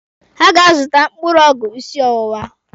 Ha ga-azụta mkpụrụ ọgwụ ịsị ọwụwa.